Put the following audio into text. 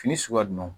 Fini suguya jumɛn